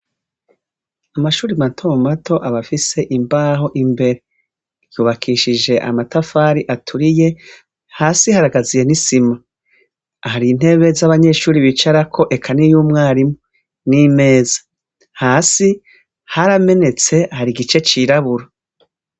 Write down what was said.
Amashure mato mato aba afise imbaho imbere. Yubakishije amatafari aturiye, hasi haragaziye n'isima. Hari intebe z'abanyeshure bicarako, eka n'iy'umwarimu, n'imeza. Hasi haramenetse, hari igice cirabura.